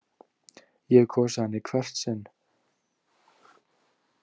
Ég hef kosið hana í hvert sinn.